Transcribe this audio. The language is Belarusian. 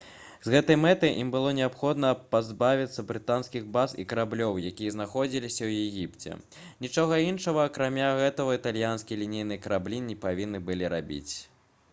з гэтай мэтай ім было неабходна пазбавіцца брытанскіх баз і караблёў якія знаходзіліся ў егіпце нічога іншага акрамя гэтага італьянскія лінейныя караблі не павінны былі рабіць